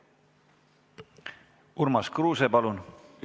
Urmas Kruuse, palun!